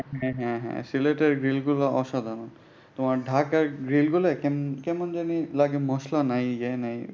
হ্যাঁ হ্যাঁ হ্যাঁ সিলেটের গ্রিলগুলা অসাধারণ। তোমার ঢাকার গ্রিলগুলা কেমন জানি লাগে মসলা নাই।